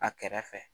A kɛrɛ fɛ